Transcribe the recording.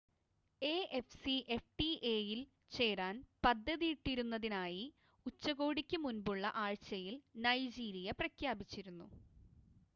എഎഫ്സിഎഫ്ടിഎ-യിൽ ചേരാൻ പദ്ധതിയിട്ടിരുന്നതിനായി ഉച്ചകോടിക്ക് മുൻപുള്ള ആഴ്ചയിൽ നൈജീരിയ പ്രഖ്യാപിച്ചിരുന്നു